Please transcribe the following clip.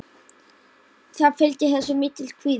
Það fylgir þessu mikill kvíði.